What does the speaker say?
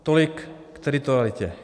Tolik k teritorialitě.